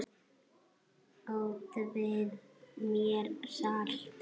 Útvegið mér salt!